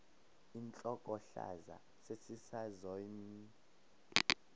intlokohlaza sesisaz omny